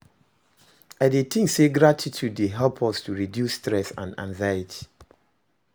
I dey think say gratitude dey help us to reduce stress and anxiety.